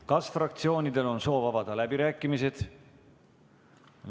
Kas fraktsioonidel on soovi avada läbirääkimised?